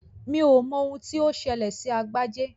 Mi ò mọ ohun tí ó ṣẹlẹ̀ sí Agbájé